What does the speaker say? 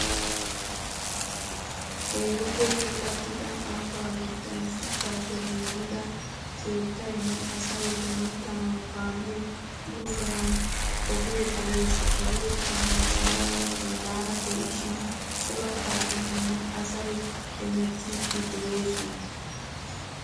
Keehippe puulatida ambba gidon shuchchappe giigida keettayinne asayi heemettanawu kaame buululanawu ogee de"ees. Ogekka gaarsaranne boollara de"ishshin cora kaametinne asayi heemettiddi de"oosona